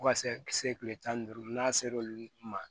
Fo ka se se kile tan ni duuru n'a ser'olu ma